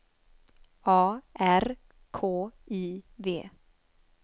A R K I V